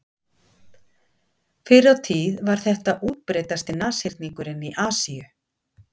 Fyrr á tíð var þetta útbreiddasti nashyrningurinn í Asíu.